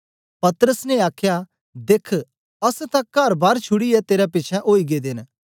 पतरस ने आखया देख्ख अस तां करबार छुड़ीयै तेरे पिछें ओई गेदे न